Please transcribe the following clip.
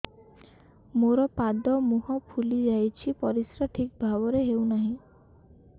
ମୋର ପାଦ ମୁହଁ ଫୁଲି ଯାଉଛି ପରିସ୍ରା ଠିକ୍ ଭାବରେ ହେଉନାହିଁ